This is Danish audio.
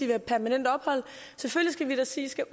have permanent ophold selvfølgelig skal vi da sige i skal